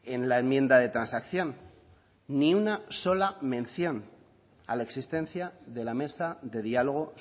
en la enmienda de transacción ni una sola mención a la existencia de la mesa de diálogo